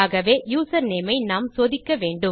ஆகவே யூசர்நேம் ஐ நாம் சோதிக்க வேண்டும்